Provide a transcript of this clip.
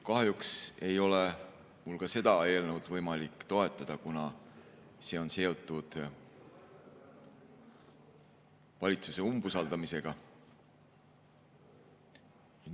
Kahjuks ei ole mul ka seda eelnõu võimalik toetada, kuna see on seotud valitsuse usaldamise küsimusega.